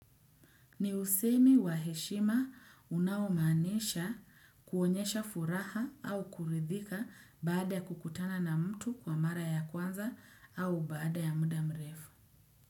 Ni usemi wa heshima unaomaanisha kuonyesha furaha au kuridhika baada ya kukutana na mtu kwa mara ya kwanza au baada ya muda mrefu.